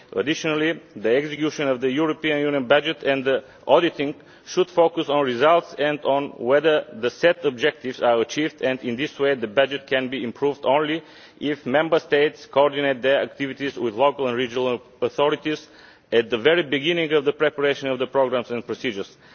Additionally, the execution of the European Union budget and the auditing should focus on results and on whether the set objectives are achieved and, in this way, the budget can be improved only if Member States coordinate their activities with local and regional authorities at the very beginning of the preparation of the programmes and procedures.